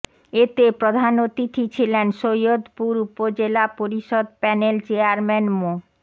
এতে প্রধান অতিথি ছিলেন সৈয়দপুর উপজেলা পরিষদ প্যানেল চেয়ারম্যান মো